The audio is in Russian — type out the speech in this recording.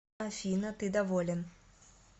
афина ты доволен